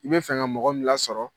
I bɛ fɛ ka mɔgɔ min lasɔrɔ.